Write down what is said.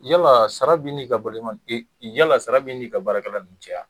Yala sara bɛ'i ni ka yalala sara bɛ n'i ka baarakɛla ninnun cɛ aa?